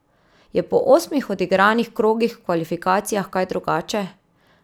Je po osmih odigranih krogih v kvalifikacijah kaj drugače?